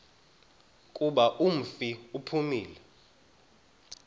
kuba umfi uphumile